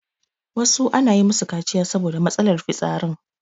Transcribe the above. wasu ana yi musu kaciya saboda matsalar fitsarin